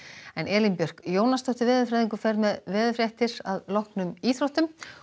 Elín Björk Jónasdóttir veðurfræðingur fer með veðurfregnir að loknum íþróttum